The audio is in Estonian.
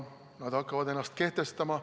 Nad hakkavad ennast kehtestama.